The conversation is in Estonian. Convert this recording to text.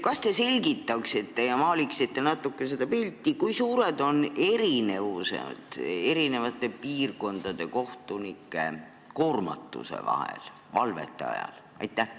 Kas te selgitaksite natuke seda pilti, kui suured on eri piirkondade kohtunike koormatuse erinevused valvete ajal?